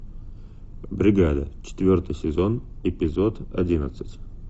бригада четвертый сезон эпизод одиннадцать